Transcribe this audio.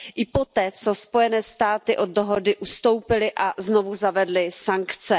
I poté, co Spojené státy od dohody ustoupily a znovu zavedly sankce.